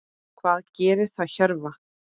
Hvað gerir það Hjörvar?